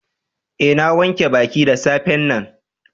Eh, na wanke baki da safe'n nan.